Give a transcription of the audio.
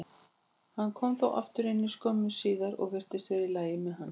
Hann kom þó aftur inn skömmu síðar og virtist vera í lagi með hann.